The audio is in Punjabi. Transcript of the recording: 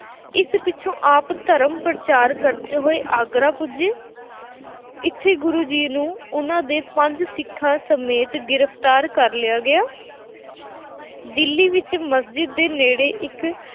ਇਸ ਪਿੱਛੋਂ ਆਪ ਧਰਮ ਪ੍ਰਚਾਰ ਕਰਦੇ ਹੋਏ ਆਗਰਾ ਪੁੱਜੇ। ਇੱਥੇ ਗੁਰੂ ਜੀ ਨੂੰ ਉਹਨਾਂ ਦੇ ਪੰਜ ਸਿੱਖਾਂ ਸਮੇਤ ਗ੍ਰਿਫਤਾਰ ਕਰ ਲਿਆ ਗਿਆ ਦਿੱਲੀ ਵਿੱਚ ਮਸਜਿਦ ਦੇ ਨੇੜੇ ਇੱਕ